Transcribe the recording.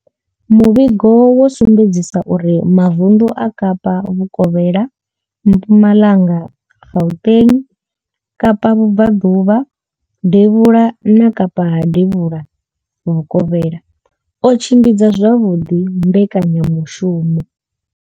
Muvhigo wo sumbedzisa uri mavundu a kapa vhukovhela, Mpumalanga, Gauteng, kapa vhubvaḓuvha devhula ha kapa na devhula vhukovhela o tshimbidza zwavhuḓi mbekanya mushumo.